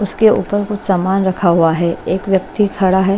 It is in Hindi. उसके ऊपर कुछ सामान रखा हुआ है एक व्यक्ति खड़ा है।